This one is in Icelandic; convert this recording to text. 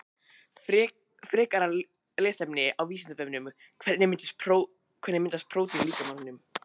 Frekara lesefni á Vísindavefnum Hvernig myndast prótín í líkamanum?